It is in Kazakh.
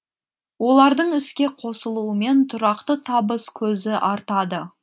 олардың іске қосылуымен тұрақты табыс көзі артады